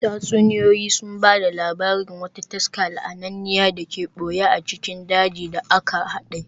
Tatsuniyoyi sun ba da labarin wata taska la'ananne da ke ɓoye a cikin dajin da aka haɗe.